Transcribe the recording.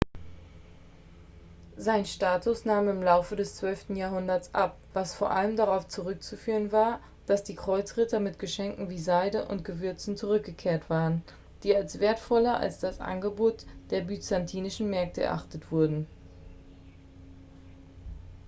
sein status nahm im laufe des zwölften jahrhunderts ab was vor allem darauf zurückzuführen war dass die kreuzritter mit geschenken wie seide und gewürzen zurückgekehrt waren die als wertvoller als das angebot der byzantinischen märkte erachtet wurden